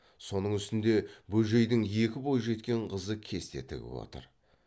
соның үстінде бөжейдің екі бойжеткен қызы кесте тігіп отыр